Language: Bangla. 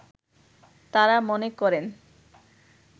তারা মনে করেন